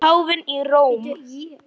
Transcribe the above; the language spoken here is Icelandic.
Páfinn í Róm.